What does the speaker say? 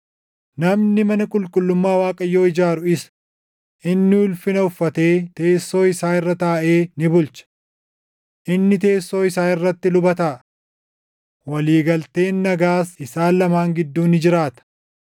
Namni mana qulqullummaa Waaqayyoo ijaaru isa; inni ulfina uffatee teessoo isaa irra taaʼee ni bulcha. Inni teessoo isaa irratti luba taʼa. Walii galteen nagaas isaan lamaan gidduu ni jiraata.’